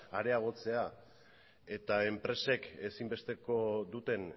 areagotzea eta enpresek ezinbesteko duten